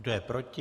Kdo je proti?